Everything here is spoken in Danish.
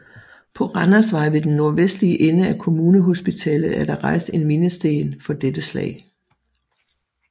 På Randersvej ved den nordvestlige ende af Kommunehospitalet er der rejst en mindesten for dette slag